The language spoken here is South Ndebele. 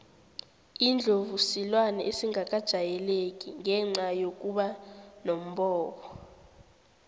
indlovu silwane esingakajayeleki ngenca yokuba nombobo